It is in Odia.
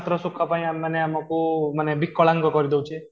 ମାତ୍ର ର ସୁଖ ପାଇଁ ଆମେମାନେ ଆମକୁ ମାନେ ବିକଳାଙ୍ଗ କରିଦେଉଛି